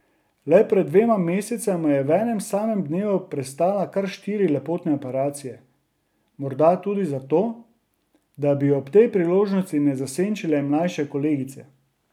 Le pred dvema mesecema je v enem samem dnevu prestala kar štiri lepotne operacije, morda tudi za to, da bi jo ob tej priložnosti ne zasenčile mlajše kolegice.